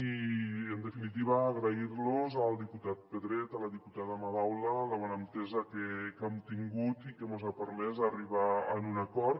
i en definitiva agrair los al diputat pedret a la diputada madaula la bona entesa que hem tingut i que mos ha permès arribar a un acord